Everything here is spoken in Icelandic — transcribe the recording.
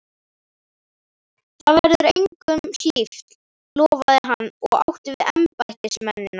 Það verður engum hlíft! lofaði hann og átti við embættismennina.